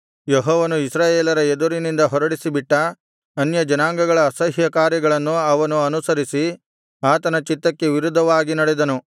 ಯೆಹೋವನು ಇಸ್ರಾಯೇಲರ ಎದುರಿನಿಂದ ಹೊರಡಿಸಿಬಿಟ್ಟ ಅನ್ಯಜನಾಂಗಗಳ ಅಸಹ್ಯಕಾರ್ಯಗಳನ್ನು ಅವನು ಅನುಸರಿಸಿ ಆತನ ಚಿತ್ತಕ್ಕೆ ವಿರುದ್ಧವಾಗಿ ನಡೆದನು